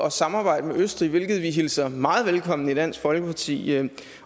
at samarbejde med østrig hvilket vi hilser meget velkommen i dansk folkeparti her